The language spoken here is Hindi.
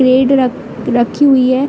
‍‍ प्लेट रख- रखी हुई है।